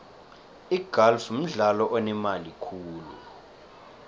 igalfu mdlalo onemali khulu